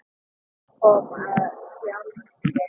Það kom af sjálfu sér.